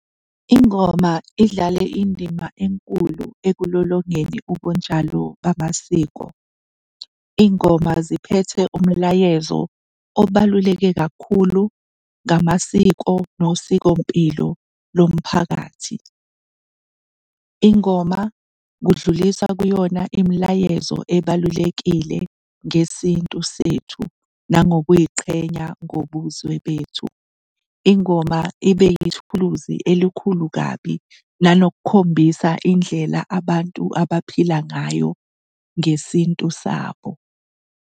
Ingoma idlale indima enkulu ekulolongeni ubunjalo bamasiko. Iy'ngoma ziphethe umlayezo obaluleke kakhulu ngamasiko nosikompilo lomphakathi. Ingoma kudluliswa kuyona imilayezo ebalulekile ngesintu sethu nangokuy'qhenya ngobuzwe bethu. Ingoma ibe yithuluzi elikhulu kabi, nanokukhombisa indlela abantu abaphila ngayo ngesintu sabo.